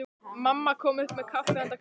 Mamma kom upp með kaffi handa Kristínu.